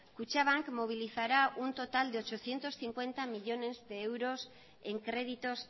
kutxabank movilizará un total de ochocientos cincuenta millónes de euros en créditos